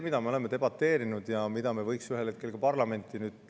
Mida me oleme debateerinud ja mis võiks ühel hetkel ka parlamenti tulla?